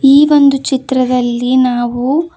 ಈ ಒಂದು ಚಿತ್ರದಲ್ಲಿ ಇಲ್ಲಿ ನಾವು.